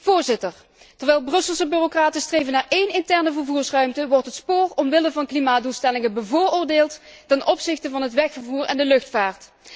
Voorzitter, terwijl Brusselse bureaucraten streven naar één interne vervoersruimte, wordt het spoor omwille van klimaatdoelstellingen bevoordeeld ten opzichte van het wegvervoer en de luchtvaart.